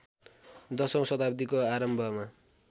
दशौँ शताब्दिको आरम्भमा